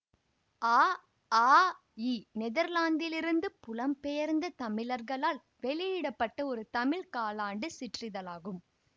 அ ஆ இ நெதர்லாந்திலிருந்து புலம்பெயர்ந்த தமிழர்களால் வெளியிட பட்ட ஒரு தமிழ் காலாண்டு சிற்றிதழாகும்